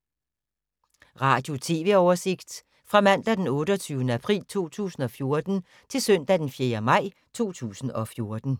Radio/TV oversigt fra mandag d. 28. april 2014 til søndag d. 4. maj 2014